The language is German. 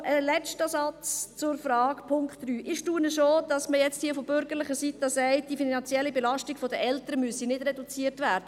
Noch ein letzter Satz zum Punkt 3: Ich staune schon, dass man jetzt hier von bürgerlicher Seite sagt, die finanzielle Belastung der Eltern müsse nicht reduziert werden.